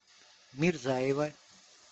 мирзаева